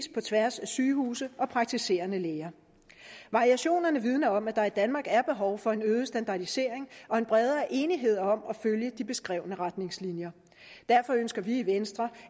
på tværs af sygehuse og praktiserende læger variationerne vidner om at der i danmark er behov for en øget standardisering og en bredere enighed om at følge de beskrevne retningslinjer derfor ønsker vi i venstre